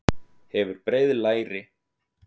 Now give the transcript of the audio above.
Hefur breið læri.